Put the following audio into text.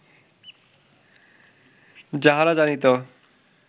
যাহারা জানিত